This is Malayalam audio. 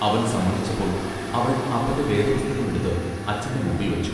അവൻ സമ്മതിച്ചപ്പോൾ അവൾ അപ്പന്റെ വേദപുസ്തകം എടുത്ത് അച്ഛന്റെ മുമ്പിൽ വച്ചു.